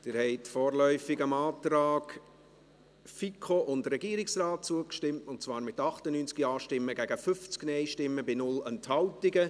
Sie haben vorläufig dem Antrag FiKo und Regierungsrat zugestimmt, und zwar mit 98 Ja- gegen 50 Nein-Stimmen bei 0 Enthaltungen.